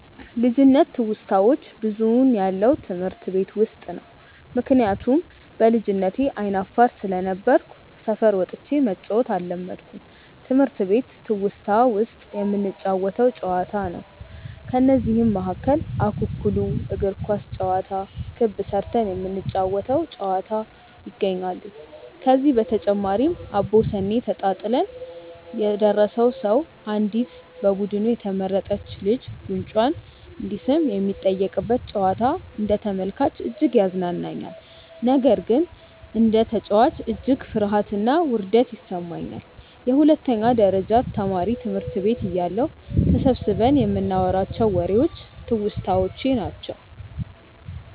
ልጅነት ትውስታዋች ብዙውን ያለው ትምህርት ቤት ውስጥ ነው። ምክንያቱም በልጅነቴ አይነ አፋር ስለነበርኩ ሰፈር ወጥቼ መጫዎትን አለመድኩም ነበር። ትምህርት ቤት ትውስታ ውስጥ የምንጫወተው ጨዋታ ነው። ከነዚህም መካከል እኩኩሉ፣ እግር ኳስ ጨዋታ፣ ክብ ስርተን የምንጫወ ተው ጨዋታ ይገኛሉ። ከዚህ በተጨማሪም አቦሰኔ ተጣጥለን የደረሰው ሰው አንዲት በቡዱኑ የተመረጥች ልጅን ጉንጯን እንዲስም የሚጠየቅበት ጨዋታ አንደ ተመልካች እጅግ ያዝናናኛል። ነገር ግን እንደ ተጨዋች እጅግ ፍርሀትና ውርደት ይሰማኛል። የሁለተኛ ደረጀ ትምህርት ቤት ተማሪ እያለሁ ተሰብስበን ይንናዋራቸው ዎሬዎች ትውስታዎቼ ናቸው።